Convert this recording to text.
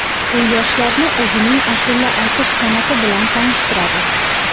U yoshlarni o‘zining ashula aytish san’ati bilan tanishtiradi.